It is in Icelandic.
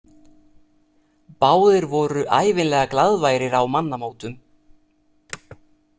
Báðir voru ævinlega glaðværir á mannamótum.